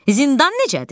Zindan necədir?